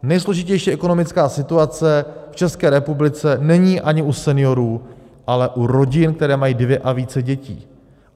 Nejsložitější ekonomická situace v České republice není ani u seniorů, ale u rodin, které mají dvě a více dětí.